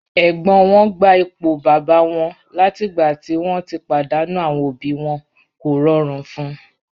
Ẹ̀gbọ́n wọn gba ipò bàbá wọn látìgbà tí wọ́n ti pàdánù àwọn òbí wọn, kò rọrùn fún un.